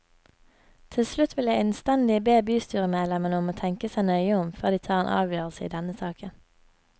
Til slutt vil jeg innstendig be bystyremedlemmene om å tenke seg nøye om før de tar en avgjørelse i denne saken.